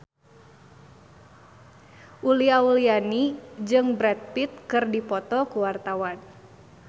Uli Auliani jeung Brad Pitt keur dipoto ku wartawan